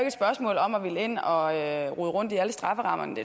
et spørgsmål om at ville ind og rode rundt i alle strafferammerne det